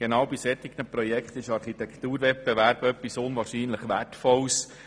Genau bei solchen Projekten sind Architekturwettbewerbe etwas sehr Wertvolles.